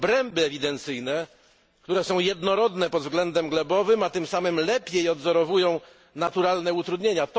obręby ewidencyjne, które są jednorodne pod względem glebowym, a tym samym lepiej odwzorowują naturalne utrudnienia.